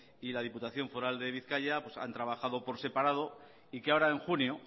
y la diputación foral de bizkaia han trabajado por separado y que ahora en junio